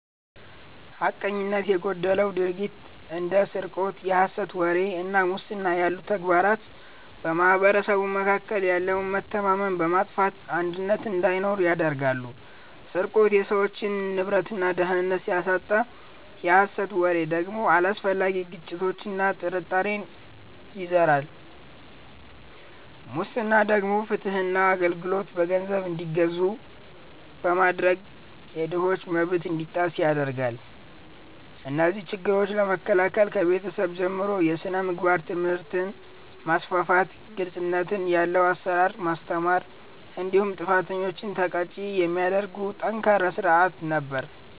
ሐቀኝነት የጎደለው ድርጊት እንደ ስርቆት፣ የሐሰት ወሬ እና ሙስና ያሉ ተግባራት በማኅበረሰቡ መካከል ያለውን መተማመን በማጥፋት አንድነትን እንዳይኖር ያደርጋሉ። ስርቆት የሰዎችን ንብረትና ደህንነት ሲያሳጣ፣ የሐሰት ወሬ ደግሞ አላስፈላጊ ግጭትና ጥርጣሬን ይዘራል። ሙስና ደግሞ ፍትህና አገልግሎት በገንዘብ እንዲገዙ በማድረግ የድሆችን መብት እንዲጣስ ያደርጋል። እነዚህን ችግሮች ለመከላከል ከቤተሰብ ጀምሮ የሥነ ምግባር ትምህርትን ማስፋፋት፤ ግልጽነት ያለው አሰራርን ማስተማር እንዲሁም ጥፋተኞችን ተቀጪ የሚያደርግ ጠንካራ ሥርዓት ነበር።